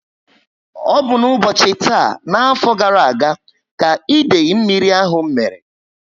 Ọ bu n'ubochi taa n'afọ gara aga, ka idei mmírí ahụ mmere